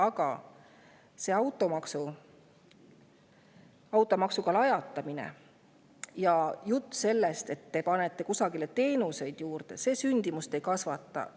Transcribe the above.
Aga see automaksuga lajatamine ja jutt sellest, et te panete kuskile teenuseid juurde – see ju sündimust ei kasvata.